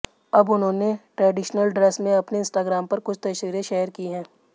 अब उन्होंने traditional dress में अपने इंस्टाग्राम पर कुछ तस्वीरें शेयर की हैं